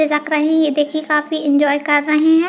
फिसक रही हैं ये देखिये काफी एन्जॉय कर रहै है।